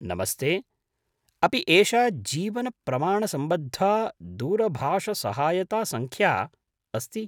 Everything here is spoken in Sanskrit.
नमस्ते, अपि एषा जीवनप्रमाणसम्बद्धा दूरभाषसहायतासंख्या अस्ति?